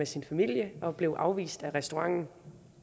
sin familie og blev afvist af restauranten